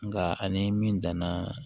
Nka ani min danna